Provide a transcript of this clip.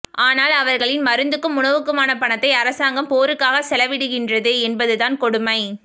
ஆனால் அவர்களின் மருந்துக்கும் உணவுக்குமான பணத்தை அரசாங்கம் போருக்காக செலவிடுகின்றது என்பது தான் கொடுமை